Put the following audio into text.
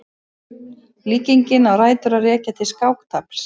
Líkingin á rætur að rekja til skáktafls.